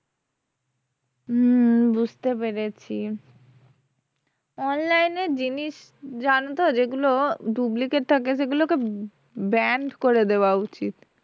হম বুঝতে পেরেছি online এর জিনিস জানোতো যেগুলো duplicate থাকে সেগুলোকে banned করে দেওয়া উচিত